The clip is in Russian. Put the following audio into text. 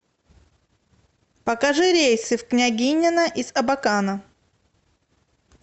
покажи рейсы в княгинино из абакана